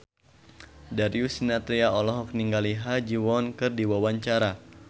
Darius Sinathrya olohok ningali Ha Ji Won keur diwawancara